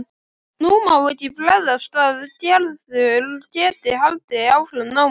Nú má ekki bregðast að Gerður geti haldið áfram námi.